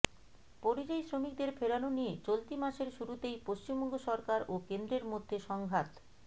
পরিযায়ী শ্রমিকদের ফেরানো নিয়ে চলতি মাসের শুরুতেই পশ্চিমবঙ্গ সরকার ও কেন্দ্রের মধ্যে সংঘাত